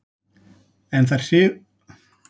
En þær þrifust hins vegar vel